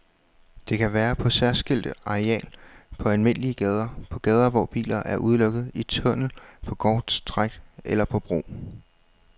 Det kan være på særskilt areal på almindelige gader, på gader hvor bilerne er udelukket, i tunnel på korte stræk eller på bro.